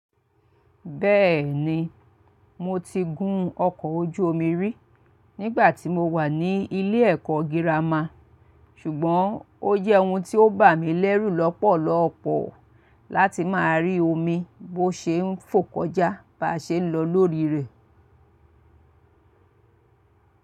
Bẹ́ẹ̀ni, mo ti gun ọkọ̀ ojú omi rí nígbà tí mo wà ní ilé ẹ̀kọ́ girama, ṣùgbọ́n ó jẹ́ ohun tí ó bà mí lẹ́rù lọ́pọ̀lọ́pọ̀ láti máa rí omi bó ṣe ń fò kọjá bá ṣe ń lọ lórí rẹ̀.